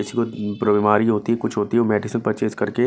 किसी को बीमारी होती है कुछ होती है वो मेडिसन परचेस करके--